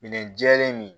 Minɛn jɛlen min